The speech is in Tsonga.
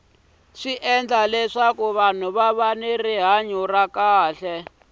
swi endla leswaku vahnu va va ni rihanya ra kahle